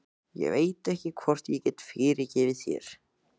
Ég veit ekki hvort ég get fyrirgefið þér.